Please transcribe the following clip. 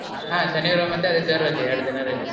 ಹಾ ಶನಿವಾರ ಮತ್ತೆ ಆದಿತ್ಯವಾರ ರಜೆ, ಎರಡು ದಿನ ರಜೆ.